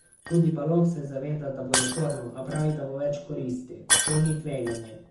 Tudi Baloh se zaveda, da bo naporno, a pravi, da bo več koristi: "To ni tveganje.